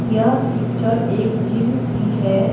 यह पिक्चर एक जिम की है।